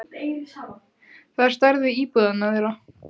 Það er á stærð við íbúðina þeirra.